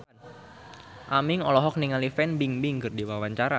Aming olohok ningali Fan Bingbing keur diwawancara